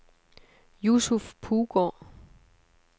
Yusuf Puggaard